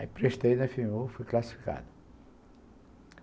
Aí prestei na efe eme u, fui classificado.